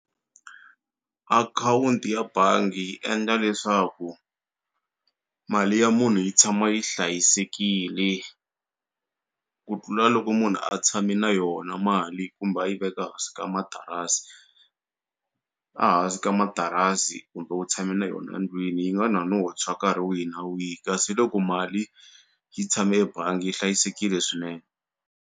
Account ya bangi yi endla leswaku mali ya munhu yi tshama yi hlayisekile ku tlula loko munhu a tshame na yona mali kumbe a yi veka hansi ka matarasi a hansi ka matarasi kumbe u tshame na yona ndlwini yi nga na no tshwa nkarhi wihi na wihi kasi loko mali yi tshame ebangi yi hlayisekile swinene.